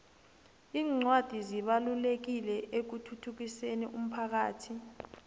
incwadi zibalulekile ekuthuthukiseni umphakhathi